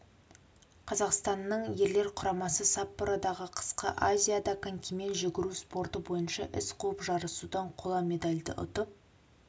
қазақстанның ерлер құрамасы саппородағы қысқы азиада конькимен жүгіру спорты бойынша із қуып жарысудан қола медальді ұтып